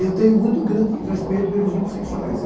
Eu tenho muito grande respeito pelos homossexuais sabe?